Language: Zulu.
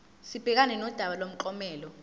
sibhekane nodaba lomklomelo